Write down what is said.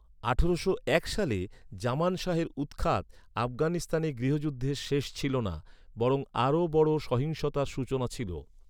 আঠারোশো এক সালে জামান শাহের উৎখাত, আফগানিস্তানে গৃহযুদ্ধের শেষ ছিল না, বরং আরও বড় সহিংসতার সূচনা ছিল।